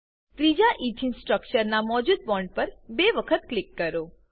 ત્રીજા ઇથીન સ્ટ્રક્ચરના મોજુદ બોન્ડ પર બે વખત ક્લિક કરો